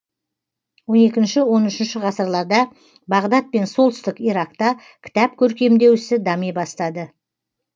он екінші он үшінші ғасырларда бағдат пен солтүстік иракта кітап көркемдеу ісі дами бастады